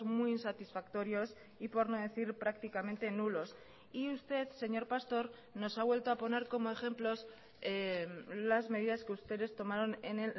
muy insatisfactorios y por no decir prácticamente nulos y usted señor pastor nos ha vuelto a poner como ejemplos las medidas que ustedes tomaron en